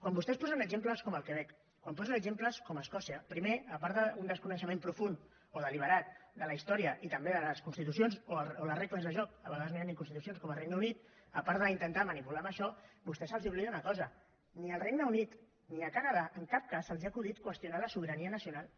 quan vostès posen exemples com el quebec quan posen exemples com escòcia primer a part d’un desconeixement profund o deliberat de la història i també de les constitucions o de les regles del joc a vegades no hi ha ni constitucions com al regne unit a part d’intentar manipular amb això a vostès se’ls oblida una cosa ni al regne unit ni al canadà en cap cas se’ls ha acudit qüestionar la sobirania nacional